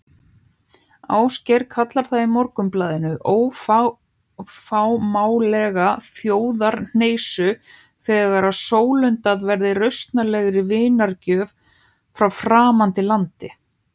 Ásgeir kallar það í Morgunblaðinu óafmáanlega þjóðarhneisu þegar sólundað verði rausnarlegri vinargjöf frá framandi landi.